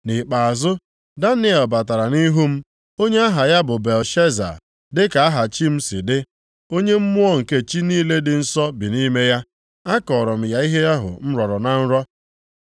Nʼikpeazụ, Daniel batara nʼihu m, onye aha ya bụ Belteshaza dịka aha chi m si dị, onye mmụọ nke chi niile dị nsọ bi nʼime ya. Akọọrọ m ya ihe ahụ m rọrọ na nrọ.